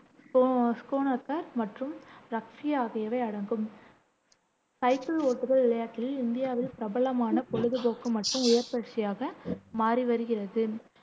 மற்றும் ரக்பி ஆகியவை அடங்கும். சைக்கிள் ஓட்டுதல் விளையாட்டில் இந்தியாவில் பிரபலமான பொழுதுபோக்கு மற்றும் உடற்பயிற்சியாக மாறி வருகிறது